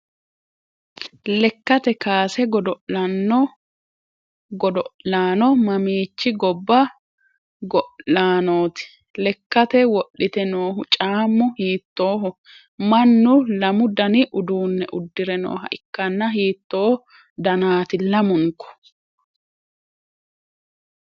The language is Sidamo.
lekkate kaase godo'laano mamiichi gobba go'laanooti? lekkate wodhite noohu caammu hiittooho? mannu lamu dani uduunne uddire nooha ikkanna hiitto danaati lamunku?